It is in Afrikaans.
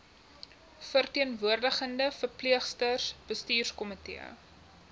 verteenwoordigende verpleegsters bestuurskomitee